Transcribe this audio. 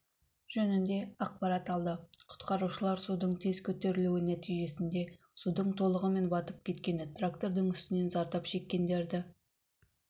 жөнінде ақпарат алды құтқарушылар судың тез көтерілуі нәтижесінде суға толығымен батып кеткен трактордың үстінен зардап шеккендерді